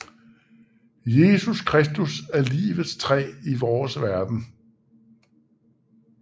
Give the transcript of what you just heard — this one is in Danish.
Jesus Kristus er Livets træ i vores verden